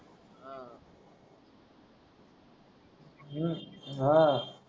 हम्म हा